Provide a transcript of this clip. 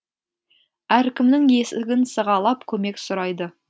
әркімнің есігін сығалап көмек сұрайды